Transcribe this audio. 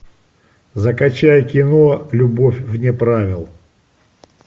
закачай кино любовь вне правил